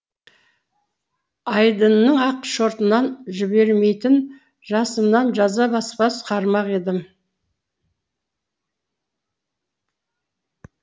айдынның ақ жібермейтін жасымнан жаза баспас қармақ едім